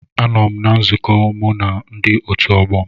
Anọ m na nzukọ mụ na ndi otu ọgbọ m